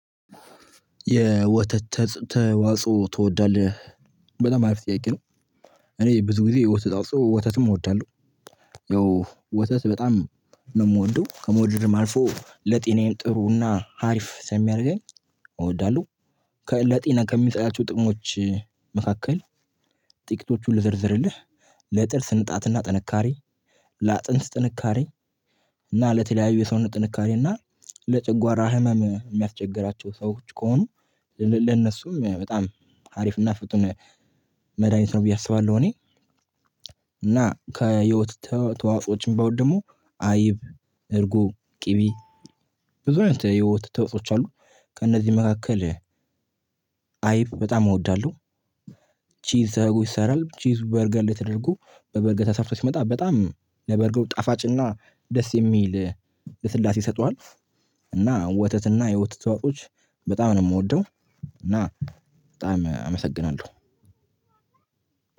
የወተት ተዋጽኦ ትወዳለህ? በጣም አሪፍ ጥያቄ ነው እኔ ብዙ ጊዜ የወተት ተዋጽኦ ወተትም እወዳለሁ። ያው ወተት በጣም ነው የምወደው። ከመውደድም አልፎ ለጤናዬም ጥሩና አሪፍ የሚያደርገኝ እወዳለሁ። ከለጤና ከሚጠያቸው ጥቅሞች መካከል ጥቂቶቹን ልዘርዝርልህ። ለጥርስ ንጣትና ጥንካሬ ለአጥንት ጥንካሬ እና ለተለያዩ የሰውነት ጥንካሬ እና ለጨጓራ ህመም ሚያስቸግራቸው ሰዎች ከሆኑ ለነሱም በጣም ሀሪፍና ፍቱን መድሃኒት ነው ብዬ አስባለሁ እኔ እና ከወተት ተዋጾዎችም ባውደሙ አይብ እርጎ ቅቤ ብዙ አይነት የወተት ተዋፆኦች አሉ ከእነዚህ መካከል አይብ በጣም እወዳለሁ ቺዝ ተደርጎ ይሰራል ቺዝ በበርገር ላይ ተደርጎ በበርገር ተሰርቶ ሲመጣ በጣም ለበርገሩ ጣፋጭና ደስ የሚል ልስላሴ ይሰጠዋል እና ወተትና የወተት ተዋፆዎች በጣም ነው የምወደው እና በጣም አመሰግናለሁ።